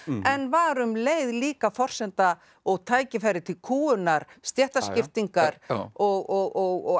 en var um leið líka forsenda og tækifæri til kúgunar stéttaskiptingar og